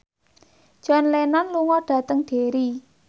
John Lennon lunga dhateng Derry